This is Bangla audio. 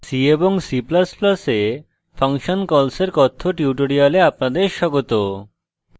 c এবং c ++ এ function calls এর কথ্য tutorial আপনাদের স্বাগত